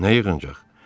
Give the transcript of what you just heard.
Nə yığıncaq?